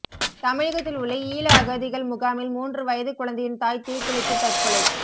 தமிழகத்தில் உள்ள ஈழ அகதிகள் முகாமில் மூன்று வயது குழந்தையின் தாய் தீக்குளித்து தற்கொலை